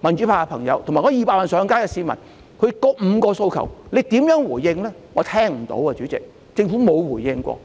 民主派的朋友，以及200萬上街的市民，政府如何回應這5項訴求呢？